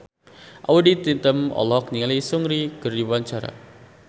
Audy Item olohok ningali Seungri keur diwawancara